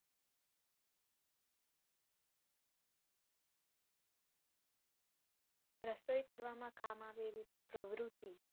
રસોઈ કરવામાં કામ આવે એવી પ્રવૃતિ.